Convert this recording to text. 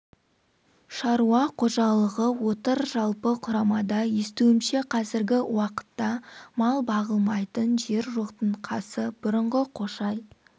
шаруа қожалығы отыр жалпы құрамада естуімше қазіргі уақытта мал бағылмайтын жер жоқтың қасы бұрынғы қошай